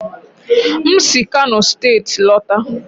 m si kano steeti lọta.